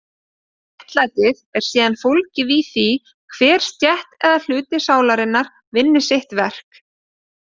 Réttlætið er síðan fólgið í því að hver stétt eða hluti sálarinnar vinni sitt verk.